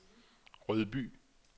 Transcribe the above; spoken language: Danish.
Rødby